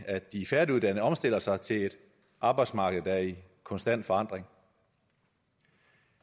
at de færdiguddannede omstiller sig til et arbejdsmarked der er i konstant forandring